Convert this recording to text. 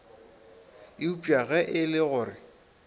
eupša ge e le gore